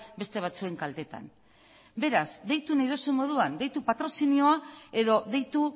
beste batzuen kaltetan beraz deitu nahi duzun moduan deitu patrozinioa edo deitu